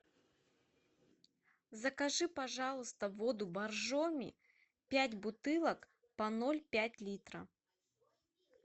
закажи пожалуйста воду боржоми пять бутылок по ноль пять литра